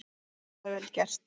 Þetta er vel gert.